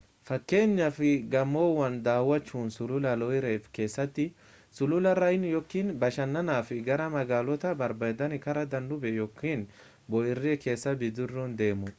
fakkenyaaf gamoowwan daawwachuun sulula loire keessatti sulula rhine yookiin bashannanaaf gara magaalota babbareedani karaa danube yookiin bo'oo erie keessa bidiruun deemuu